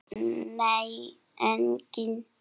Nei, enginn